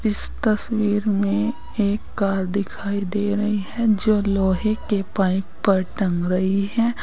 इस तस्वीर में एक कार दिखाई दे रही है जो लोहे के पाइप पर टंग रही है।